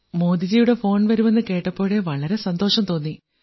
മോദിജിയുടെ phone വരും എന്നു കേട്ടപ്പോഴേ വളരെ സന്തോഷം തോന്നി